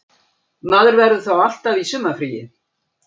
Maður verður þá alltaf í sumarfríi